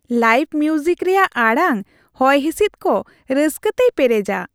Live music ᱨᱮᱭᱟᱜ ᱟᱲᱟᱝ ᱦᱚᱭᱼᱦᱤᱥᱤᱫ ᱠᱚ ᱨᱟᱹᱥᱠᱟᱹᱛᱮᱭ ᱯᱮᱨᱮᱡᱟ ᱾